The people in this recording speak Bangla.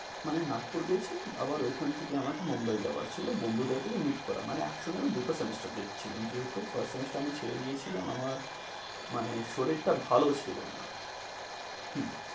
মানে নাগপুরে গিয়েছি, আবার ওখান থেকে আমাকে মুম্বাই যাওয়ার ছিল বন্ধুদের থেকে meet করা, মানে আমি একসঙ্গে দুটো semester দিচ্ছিলাম যেহেতু first semester আমি ছেড়ে দিয়েছিলাম, আমার মানে আমার শরীরটা ভালো ছিল না।